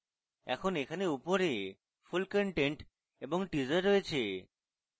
এখন এখানে উপরে full content এবং teaser রয়েছে